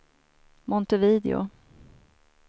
Montevideo